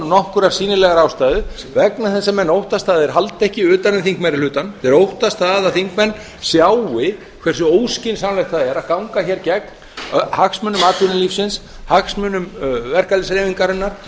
nokkurrar sýnilegrar ástæðu vegna þess að menn óttast að þeir haldi ekki utan um þingmeirihlutann þeir óttast það að þingmenn sjái hversu óskynsamlegt það er að ganga hér gegn hagsmunum atvinnulífsins hagsmunum verkalýðshreyfingarinnar